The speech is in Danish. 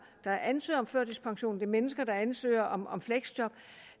der ansøger om førtidspension det er mennesker der ansøger om om fleksjob